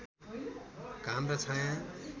घाम र छाया